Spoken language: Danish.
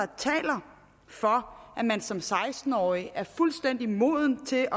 taler for at man som seksten årig er fuldstændig moden til